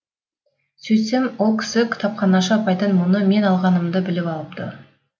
сөйтсем ол кісі кітапханашы апайдан мұны мен алғанымды біліп алыпты